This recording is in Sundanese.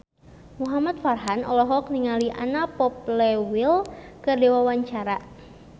Muhamad Farhan olohok ningali Anna Popplewell keur diwawancara